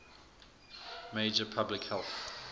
major public health